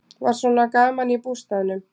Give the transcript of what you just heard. Var svona gaman í bústaðnum?